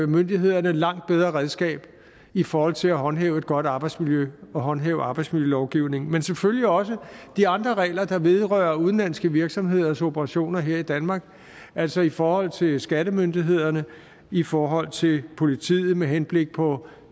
myndighederne et langt bedre redskab i forhold til at håndhæve et godt arbejdsmiljø og håndhæve arbejdsmiljølovgivningen men selvfølgelig også de andre regler der vedrører udenlandske virksomheders operationer her i danmark altså i forhold til skattemyndighederne i forhold til politiet med henblik på